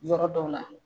Yɔrɔ dɔw la